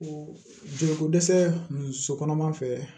O jeliko dɛsɛ ninnu so kɔnɔ an fɛ